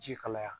Ji kalaya